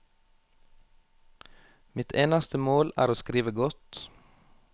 Mitt eneste mål er å skrive godt.